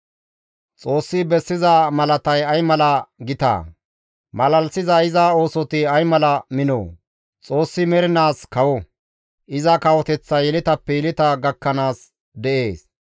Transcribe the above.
Xoossi bessiza malatay ay mala gitaa! malalisiza iza oosoti ay mala minoo! Xoossi mernaas kawo; iza kawoteththay yeletappe yeleta gakkanaas de7ees.